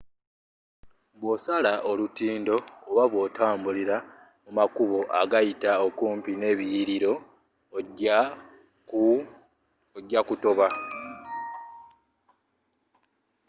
bwosala olutindo oba bwotambula mu makubo agayita okumpi n'ebiliyiliro ojja kutoba